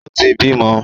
O ti bímọ.